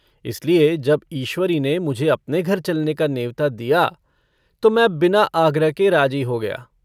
इसलिए जब ईश्वरी ने मुझे अपने घर चलने का नेवता दिया तो मैं बिना आग्रह के राजी हो गया।